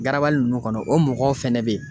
Garabali nunnu kɔnɔ o mɔgɔw fɛnɛ be yen.